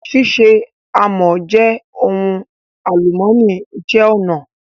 Ṣíṣe àmọ́ jẹ́ ohun àlùmọ́nì ìṣe-ọnà